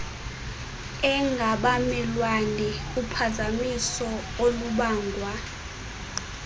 engabamelwane uphazamiso olubangwa